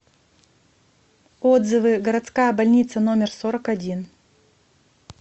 отзывы городская больница номер сорок один